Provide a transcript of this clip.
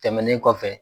Tɛmɛnen kɔfɛ